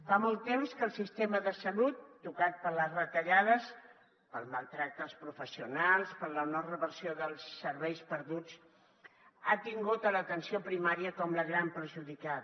fa molt temps que el sistema de salut tocat per les retallades pel maltractament als professionals per la no reversió dels serveis perduts ha tingut l’atenció primària com la gran perjudicada